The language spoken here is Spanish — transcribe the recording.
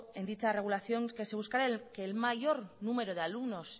en dicha regulación que se buscará el mayor número de alumnos